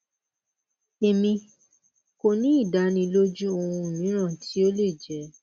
emi ko ni idaniloju ohun miiran ti o le jẹ